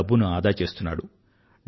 డబ్బుని ఆదా చేస్తున్నాడు